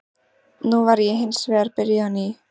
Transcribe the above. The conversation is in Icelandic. Nú væri ég hins vegar byrjuð á ný.